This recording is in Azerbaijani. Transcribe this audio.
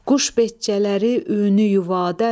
Quş beçələri öyünü yuvadan,